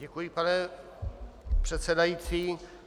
Děkuji, pane předsedající.